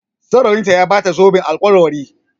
Masoyinta ya Bata zoben alkawari